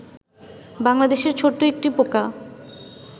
বাংলাদেশের ছোট্ট একটি পোকা